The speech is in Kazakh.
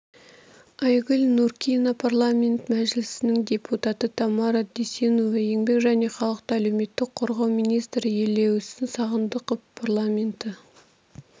айгүл нуркина парламенті мәжілісінің депутаты тамара дүйсенова еңбек және халықты әлеуметтік қорғау министрі елеусін сағындықов парламенті